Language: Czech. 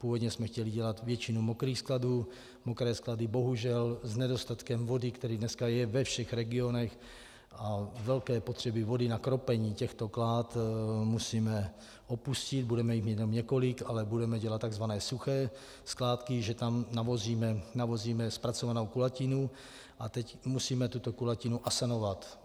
Původně jsme chtěli dělat většinu mokrých skladů, mokré sklady bohužel s nedostatkem vody, který dneska je ve všech regionech, a velké potřeby vody na kropení těchto klád musíme opustit, budeme jich mít jenom několik, ale budeme dělat tzv. suché skládky, že tam navozíme zpracovanou kulatinu, a teď musíme tuto kulatinu asanovat.